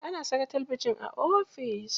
Ana saka talabijin a ofis.